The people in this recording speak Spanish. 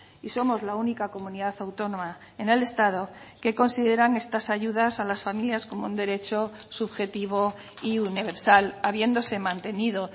y somos la única comunidad autónoma en el estado que consideran estas ayudas a las familias como un derecho subjetivo y universal habiéndose mantenido